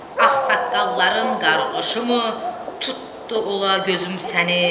Ağsaqqalların qarğışı mı tutdu ola gözüm səni?